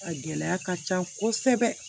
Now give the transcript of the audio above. A gɛlɛya ka ca kosɛbɛ